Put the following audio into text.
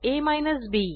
a B